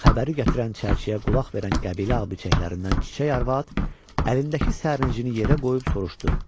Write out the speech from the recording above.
Xəbəri gətirən çərçiyə qulaq verən qəbilə abıçeşəklərindən Çiçək arvad əlindəki sərnicini yerə qoyub soruşdu.